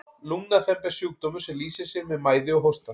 lungnaþemba er sjúkdómur sem lýsir sér með mæði og hósta